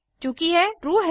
चूँकि यह ट्रू है